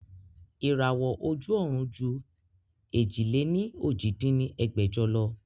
Ìràwọ́ ojú ọ̀run ju èjì-lé-ní-ojì dín ní ẹgbẹ́jọ lọ